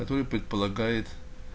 а то и предполагает